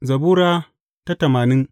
Zabura Sura tamanin